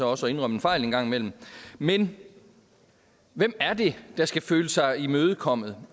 også at indrømme en fejl en gang imellem men hvem er det der skal føle sig imødekommet